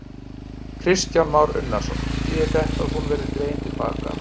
Kristján Már Unnarsson: Þýðir þetta að hún verði dregin til baka?